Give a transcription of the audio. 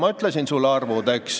Ma ütlesin sulle arvud.